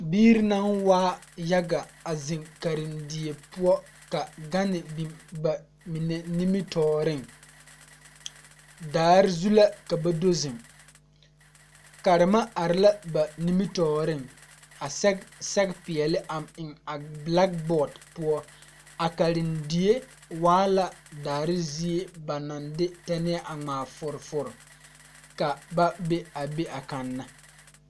Birre naŋ waa yaga a zeŋ karendie poɔ ka gane biŋ ba mine nimitooreŋ daare zu la ka ba do zeŋ karema are la ba nimitooreŋ a sɛge sɛge peɛɛle a eŋ a blakbɔɔd poɔ a karendie waa la daare zie ba naŋ de tɛnɛɛ a ngmaa fɔrefɔre ka ba be a be a kanna.